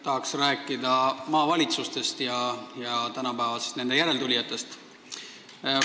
Tahan rääkida maavalitsustest ja nende järeltulijatest tänapäeval.